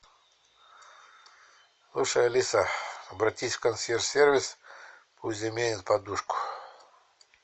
слушай алиса обратись в консьерж сервис пусть заменят подушку